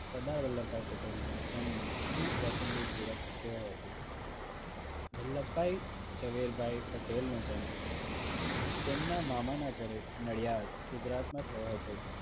સરદાર વલ્લભભાઈ પટેલ નો જન્મ અને કૌટુંબિક જીવન કેવું હતું. વલ્લભભાઈ ઝવેરભાઈ પટેલ નો જન્મ તેમના મામાના ઘરે નડિયાદ ગુજરાતમાં થયો હતો